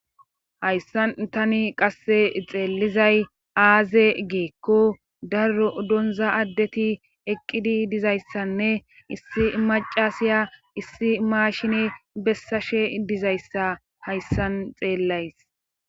Hayssan tani qasse xeellizay aaze geekko daro donza addeti eqqidi dizayssanne issi macasiya issi maashine bessashe dizayssa hayssan xeellays.